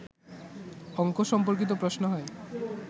অঙ্ক সম্পর্কিত প্রশ্ন হয়